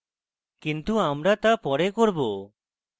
কিন্তু আমরা তা পরে করব